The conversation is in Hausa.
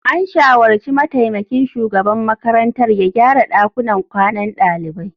An shawarci mataimakin shugaban makarantar ya gyara dakunan kwanan dalibai.